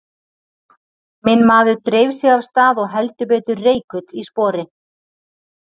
Minn maður dreif sig af stað og heldur betur reikull í spori.